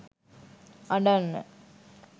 අඬන්න